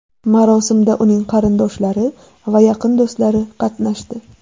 Marosimda uning qarindoshlari va yaqin do‘stlari qatnashdi.